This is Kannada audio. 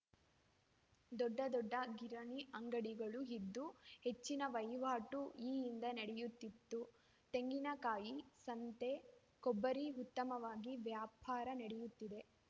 ದೊಡ್ಡ ದೊಡ್ಡ ಕಿರಣಿ ಅಂಗಡಿಗಳು ಇದ್ದು ಹೆಚ್ಚಿನ ವಹಿವಾಟು ಈ ಹಿಂದೆ ನಡೆಯುತ್ತಿತ್ತು ತೆಂಗಿನ ಕಾಯಿ ಸಂತೆ ಕೊಬ್ಬರಿ ಉತ್ತಮವಾಗಿ ವ್ಯವಹಾರ ನಡೆಯುತ್ತಿದೆ